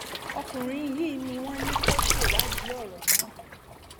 ọkùnrin yìí ni wọn ní kó ṣèwádìí ọrọ náà